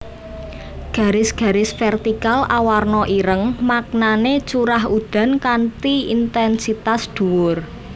Garis garis vertikal awarna ireng maknané curah udan kanthi intènsitas dhuwur